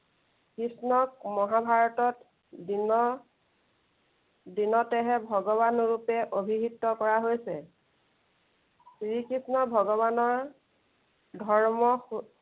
কৃষ্ণক মহাভাৰতত দিন দিনতেহে ভগৱান ৰূপে অভিহত কৰা হৈছে। শ্ৰীকৃষ্ণ ভগৱানৰ ধৰ্ম